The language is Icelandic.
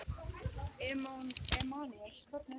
Emanúel, hvernig er dagskráin?